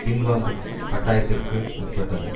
பின்வாங்கும் கட்டாயத்திற்கு உட்பட்டது